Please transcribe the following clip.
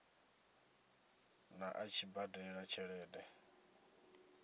ḓa a tshi badela tshelede